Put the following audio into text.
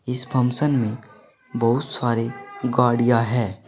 इस फंक्शन में बहुत सारी गाड़ियां है।